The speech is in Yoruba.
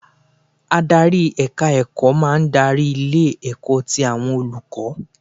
Adarí èka ẹ̀kọ́ máa ń darí ilé ẹ̀kọ́ ti àwọn olùkọ́